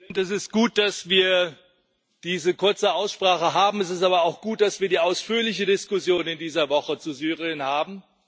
Herr Präsident! Es ist gut, dass wir diese kurze Aussprache haben. Es ist aber auch gut, dass wir die ausführliche Diskussion in dieser Woche zu Syrien haben.